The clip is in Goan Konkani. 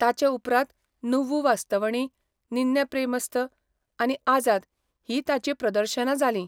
ताचे उपरांत नुव्वु वास्तवणी, निन्ने प्रेमस्थ, आनी आझाद हीं ताचीं प्रदर्शनां जालीं.